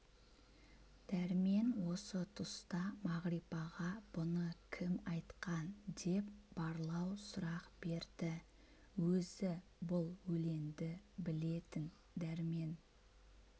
дәрмен осы тұста мағрипаға бұны кім айтқан деп барлау сұрақ берді өзі бұл өленді білетін дәрмен